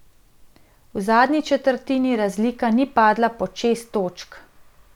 V zadnji četrtini razlika ni padla pod šest točk.